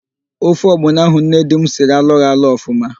Ofe ọgbọnọ ahụ nne di m siri alọghị alọ ọfụma.